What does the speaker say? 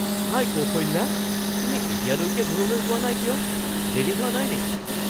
হাই কৌশল্যা, তুমি এতিয়ালৈকে ঘৰলৈ যোৱা নাই কিয়? দেৰি হোৱা নাই নেকি?